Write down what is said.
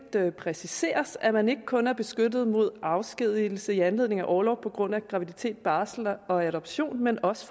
præciseres at man ikke kun er beskyttet mod afskedigelse i anledning af orlov på grund af graviditet barsel og adoption men også